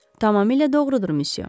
Tamamilə doğrudur missiya.